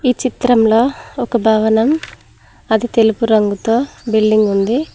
ఈ చిత్రంలో ఒక భవనం అది తెలుపు రంగుతో బిల్డింగ్ ఉంది.